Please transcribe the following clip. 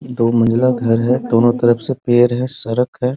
दो मंजिला घर है दोनों तरफ से पेड़ है सड़क है।